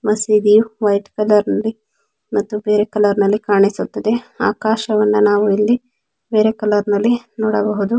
ಮಸ್ತ ಇದೆ white colour ಮತ್ತು ಬೇರೆ ಕಲರ್ ಆಕಾಶವನ್ನು ನಾವು ಇಲ್ಲಿ ಬೇರೆ ಕಲರ್ ನಲ್ಲಿ ನೋಡಬಹುದು.